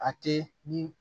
A tɛ ni